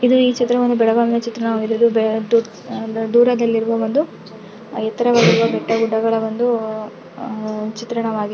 ಇದು ಈ ಚಿತ್ರವನ್ನು ಬೆಳಗಾಮಿನ ಚಿತ್ರಣವಾಗಿದ್ದು ದೂರದಲ್ಲಿರುವ ಒಂದು ಎತ್ತರದಲ್ಲಿರುವ ಬೆಟ್ಟಗುಡ್ಡಗಳ ಒಂದು ಅಹ್ ಚಿತ್ರಣವಾಗಿದೆ.